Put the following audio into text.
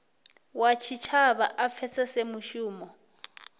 wa tshitshavha a pfesese mushumo